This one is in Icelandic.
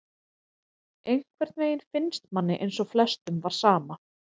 Einhvern veginn finnst manni eins og flestum var sama,